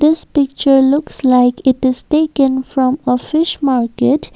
this picture looks like it is speaken from a fish market.